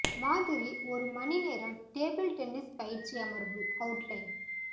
மாதிரி ஒரு மணி நேரம் டேபிள் டென்னிஸ் பயிற்சி அமர்வு அவுட்லைன்